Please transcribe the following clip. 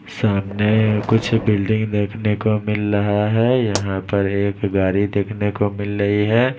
सामने कुछ बिल्डिंग देखने को मिल रहा है यहाँ पर एक गाड़ी देखने को मिल रही है।